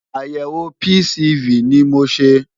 Àyẹ̀wò PCV ni mo ṣe.